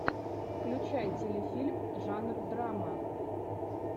включай телефильм жанр драма